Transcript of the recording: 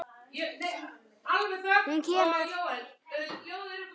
Hún kemur!